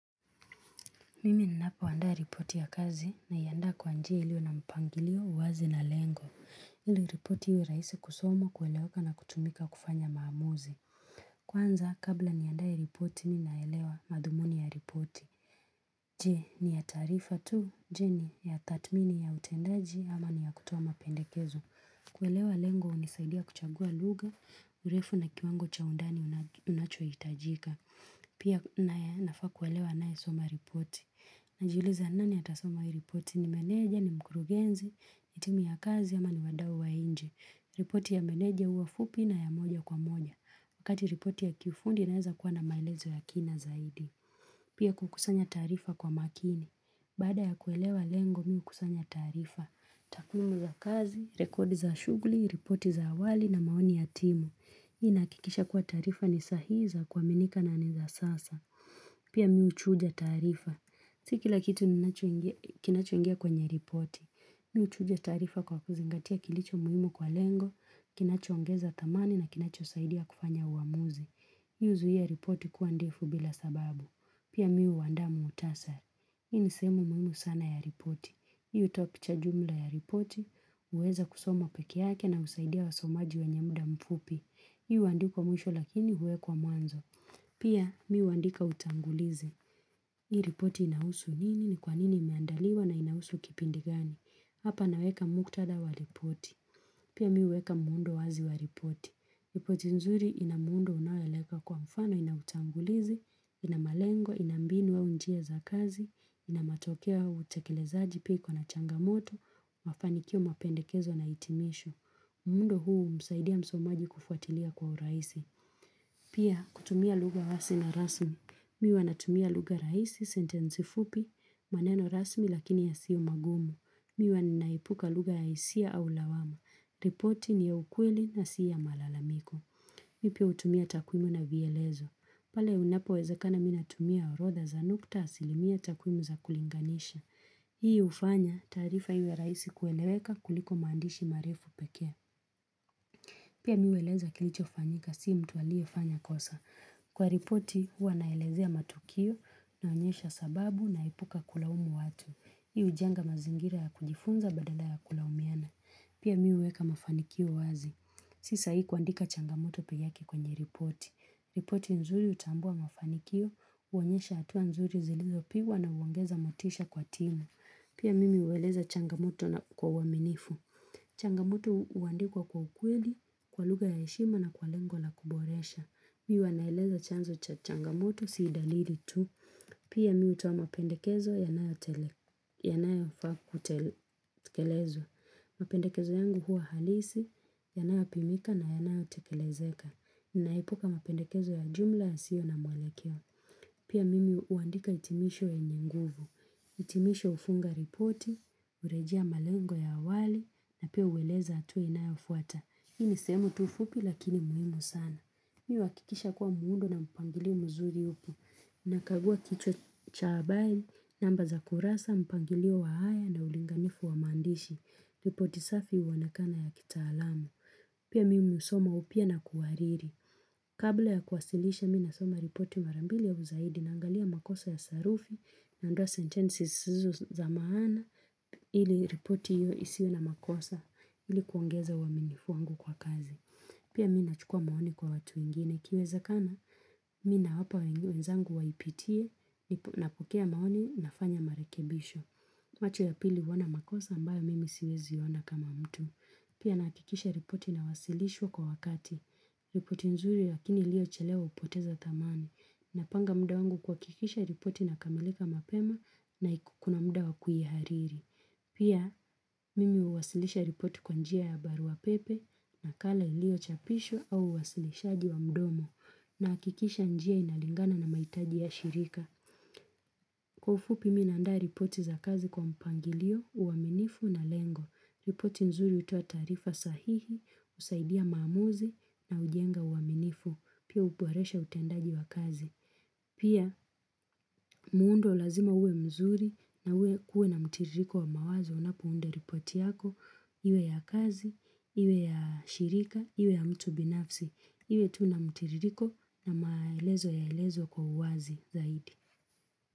Mimi ninapoandaa ripoti ya kazi naianda kwa njia ilio na mpangilio uwazi na lengo. Ili ripoti iwe rahisi kusoma kueleweka na kutumika kufanya maamuzi. Kwanza, kabla niandae ripoti, ninaelewa madhumuni ya ripoti. Je, ni ya taarifa tu, je ni ya tathmini ya utendaji ama ni ya kutoa mapendekezo. Kuelewa lengo, hunisaidia kuchagua lugha, urefu na kiwango cha undani unachohitajika. Pia nafaa kuelewa anayesoma ripoti. Najiuliza nani atasoma hii ripoti ni meneja ni mkurugenzi ni timu ya kazi au ni wadau wa nje ripoti ya meneja huwa fupi na ya moja kwa moja Wakati ripoti ya kifundi inaeza kuwa na maelezo ya kina zaidi Pia kukusanya tarifa kwa makini Baada ya kuelewa lengo mi hukusanya taarifa takwimu ya kazi, rekodi za shughuli, ripoti za awali na maoni ya timu Hii inahakikisha kuwa taarifa ni sahi za kuaminika na ni za sasa Pia mi huchuja taarifa Si kila kitu ninachoingia kinachoingia kwenye ripoti. Mi huchuja taarifa kwa kuzingatia kilicho muhimu kwa lengo, kinachoongeza thamani na kinachosaidia kufanya uamuzi. Hii huzuia ripoti kuwa ndefu bila sababu. Pia mi huandaa muhtasari. Hii ni sehemu muhimu sana ya ripoti. Hii hutoa picha jumla ya ripoti, uwezo wa kusoma peke yake na husaidia wasomaji wenye muda mfupi. Hii huandikwa mwisho lakini huwekwa mwanzo. Pia mi huandika utangulizi. Hii ripoti inahusu nini, ni kwa nini imeandaliwa na inahusu kipindi gani. Hapa naweka muktada wa ripoti. Pia mi huweka muundo wazi wa ripoti. Ripoti nzuri ina muundo unaoeleza kwa mfano ina utangulizi, ina malengo, ina mbinu au njia za kazi, ina matokeo ya utekelezaji pia iko na changamoto, mafanikio mapendekezo na hitimisho. Muundo huu humsaidia msomaji kufuatilia kwa urahisi. Pia kutumia lugha wai na rasmi. Mi huwa natumia lugha rahisi sentensi fupi, maneno rasmi lakini yasio magumu. Mi huwa ninaepuka lugha ya hisia au lawama. Ripoti ni ya ukweli na si ya malalamiko. Mi pia hutumia takwimu na vielezo. Pale unapowezekana mimi natumia orodha za nukta asilimia takwimu za kulinganisha. Hii hufanya taarifa iwe rahisi kueleweka kuliko maandishi marefu pekee. Pia mi hueleza kilichofanyika si mtu aliyefanya kosa. Kwa ripoti huwa naelezea matukio naonyesha sababu naepuka kulaumu watu. Hiu hujenga mazingira ya kujifunza badala ya kulaumiana. Pia miweka mafanikio wazi. Si sahihi kuandika changamoto peke yake kwenye ripoti. Ripoti nzuri hutambua mafanikio huonyesha hatua nzuri zilizopigwa na huongeza motisha kwa timu. Pia mimi hueleza changamoto na kwa uaminifu. Changamoto huandikwa kwa ukweli, kwa lugha ya heshima na kwa lengo la kuboresha. Mi huwa naeleza chanzo cha changamoto, si dalili tu. Pia mi hutoa mapendekezo yanayofaa kutekelezwa. Mapendekezo yangu huwa halisi, yanayopimika na yanayotekelezeka. Ninaepuka mapendekezo ya jumla ya sio na mwelekeo. Pia mimi huandika hitimisho yenye nguvu. Hitimisho hufunga ripoti, hurejea malengo ya awali na pia ueleza hatua inayofuata. Hii ni sehemu tu fupi lakini muhimu sana. Mi uhakikisha kuwa muundo na mpangilio mzuri upo. Nakagua kichwa cha habari, namba za kurasa, mpangilio wa haya na ulinganifu wa maandishi. Ripoti safi huonekana ya kitaalamu. Pia mimi husoma upya na kuhariri. Kabla ya kuwasilisha mimi nasoma ripoti mara mbili ya au zaidi na angalia makosa ya sarufi Naondoa sentences zisizo na maana ili ripoti isiwe na makosa ili kuongeza uaminifu wangu kwa kazi. Pia mi nachukua maoni kwa watu wengine. Ikiwezekana, mi nawapa wenzangu waipitie, napokea maoni, nafanya marekebisho. Macho ya pili huona makosa ambayo mimi siwezi ona kama mtu. Pia nahakikisha ripoti inawasilishwa kwa wakati. Ripoti nzuri lakini iliyochelewa hupoteza thamani. Napanga muda wangu kuhakikisha ripoti inakamilika mapema na iko kuna muda wa kuihariri. Pia, mimi huwasilisha ripoti kwa njia ya barua pepe nakala iliyochapishwa au uwasilishaji wa mdomo nahakikisha njia inalingana na mahitaji ya shirika. Kwa ufupi mi naanda ripoti za kazi kwa mpangilio, uaminifu na lengo. Ripoti nzuri hutoa taarifa sahihi, husaidia maamuzi na hujenga uaminifu, pia huboresha utendaji wa kazi. Pia, muundo lazima uwe mzuri na uwe kuwe na mtiririko wa mawazo unapounda ripoti yako, iwe ya kazi, iwe ya shirika, iwe ya mtu binafsi, iwe tu na mtiririko na maelezo yaelezwe kwa uwazi zaidi.